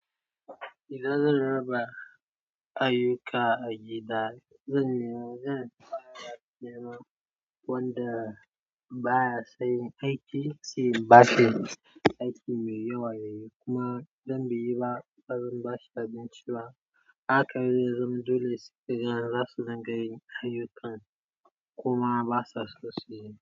Idan zan raba ayyuka a gida, zan nemi zan fara da neman wanda baya sonyi aiki, shi bashi aiki mai yawa yayi. Kuma idan bai yi ba, bazan bashi abinci ba. Haka ne, zan dole sai zaisa yaran zasu dinga yin ayyukan kuma basa so suyi.